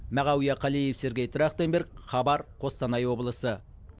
мағауия қалиев сергей трахтенберг хабар қостанай облысы